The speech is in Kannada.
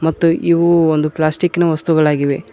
ಮತ್ತು ಇವು ಒಂದು ಪ್ಲಾಸ್ಟಿಕ್ ನ ವಸ್ತುಗಳಾಗಿವೆ.